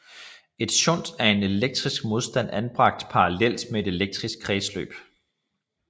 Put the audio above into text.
En shunt er en elektrisk modstand anbragt parallelt med et elektrisk kredsløb